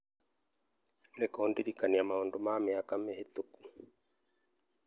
nĩ kũndirikania maũndũ ma mĩaka mĩhĩtũku